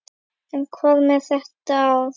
En hvað með þetta ár?